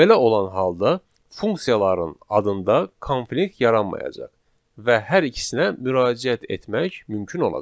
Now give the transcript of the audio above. Belə olan halda funksiyaların adında konflikt yaranmayacaq və hər ikisinə müraciət etmək mümkün olacaq.